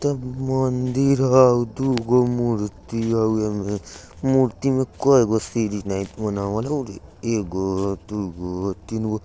मंदीर होउ दुगो मुर्ती हउ एमे मूर्ती में कएगो सीड़ी बनावल हो रे एगो दुगो तीनगो ।